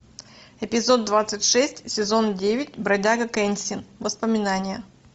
эпизод двадцать шесть сезон девять бродяга кэнсин воспоминания